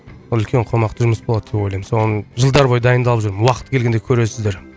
ол үлкен қомақты жұмыс болады деп ойлаймын соған жылдар бойы дайындалып жүрмін уақыты келгенде көресіздер